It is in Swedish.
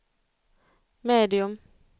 medium